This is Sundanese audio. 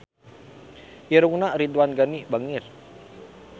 Irungna Ridwan Ghani bangir